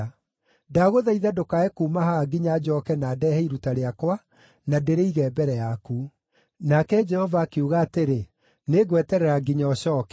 Ndagũthaitha ndũkae kuuma haha nginya njooke na ndeehe iruta rĩakwa na ndĩrĩige mbere yaku.” Nake Jehova akiuga atĩrĩ, “Nĩngweterera nginya ũcooke.”